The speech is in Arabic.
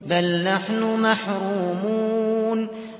بَلْ نَحْنُ مَحْرُومُونَ